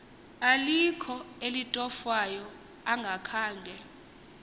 alikho elitofwayo angakhange